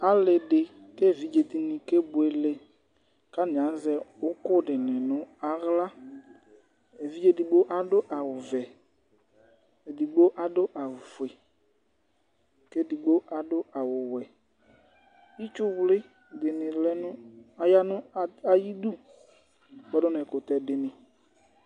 Ali di k'evidze dini k'ebuele, k'atani azɛ ukù dini n'aɣla, evidze edigbo adu awù vɛ, edigbo adu awù fue, k'edigbo adu awù wɛ, itsuwli dini lɛ nu aya nu ayi idú kpɔdu k'ɛkutɛ dini